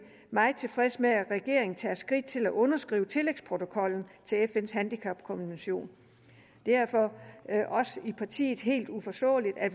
meget tilfreds med at regeringen tager skridt til at underskrive tillægsprotokollen til fns handicapkonvention det er for os i partiet helt uforståeligt at